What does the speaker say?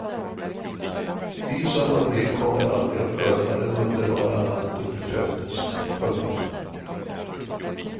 Vi som var med kommer aldrig att glömma den underbara natten du föddes. punkt